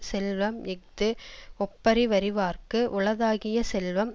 செல்வம் இஃது ஒப்புரவறிவார்க்கு உளதாகிய செல்வம்